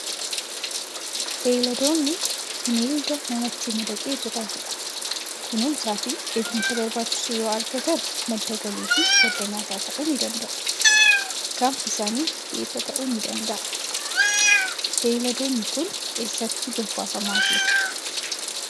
Beeyladoonni bineelda namatti madaqee jiraatu dha. Kunuunsaa fi eegumsa barbaachisu yoo argatan, madda galii fi madda nyaataa ta'uu ni danda'u. Gaanfi isaanii geepha ta'uu ni danda'a. Beeyladoonni kun eessatti bobbaafamaa jiru?